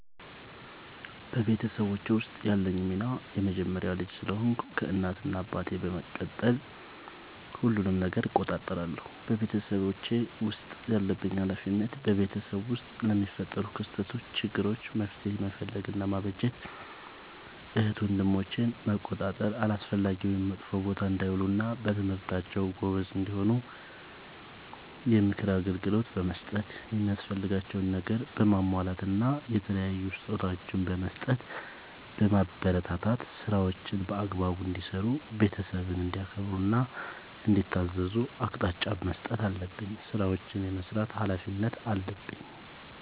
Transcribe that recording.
በቤተሰቦቼ ውስጥ ያለኝ ሚና የመጀመሪያ ልጅ ስለሆንኩ ከእናት እና አባቴ በመቀጠል ሁሉንም ነገር እቆጣጠራለሁ። በቤተሰቤ ውስጥ ያለብኝ ኃላፊነት በቤተሰብ ውስጥ ለሚፈጠሩ ክስተቶች ÷ችግሮች መፍትሄ መፈለግ እና ማበጀት ÷ እህት ወንድሞቼን መቆጣጠር አላስፈላጊ ወይም መጥፎ ቦታ እንዳይውሉ እና በትምህርታቸው ጎበዝ እንዲሆኑ የምክር አገልግሎት በመስጠት የሚያስፈልጋቸውን ነገር በማሟላት እና የተለያዩ ስጦታዎችን በመስጠትና በማበረታታት ÷ ስራዎችን በአግባቡ እንዲሰሩ ÷ ቤተሰብን እንዲያከብሩ እና እንዲታዘዙ አቅጣጫ መስጠት አለብኝ። ስራዎችን የመስራት ኃላፊነት አለብኝ።